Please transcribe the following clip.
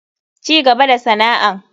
Cigaba da sana'an.